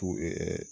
Tugu